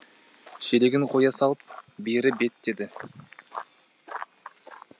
шелегін қоя салып бері беттеді